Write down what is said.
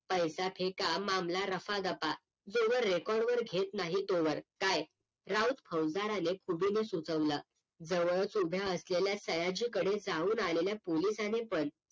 पैसा फेका मामला रफा दफा जोवर RECORD वर घेत नाही तोवर काय राऊत फुसदाराने उभेनं सुतवला जवळच उभ्या असलेल्या सयाजी कडे जाऊन आलेल्या पोलिसाने पण